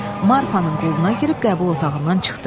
Marfanın qoluna girib qəbul otağından çıxdı.